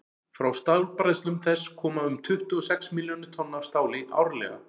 frá stálbræðslum þess koma um tuttugu og sex milljónir tonna af stáli árlega